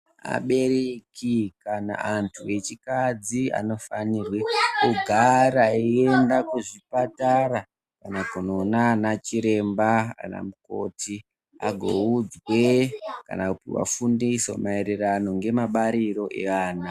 Abereki kana antu echikadzi anofanirwe kugara eienda kuzvipatara kana kunoonachiremba kana mukoti agoudzwe kanakuvafundiso maererano ngemabariro eana.